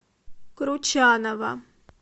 кручанова